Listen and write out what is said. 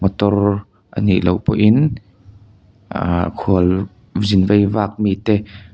motor a niloh pawh in ahh khualzin veivak mite--